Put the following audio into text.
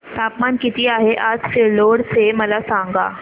तापमान किती आहे आज सिल्लोड चे मला सांगा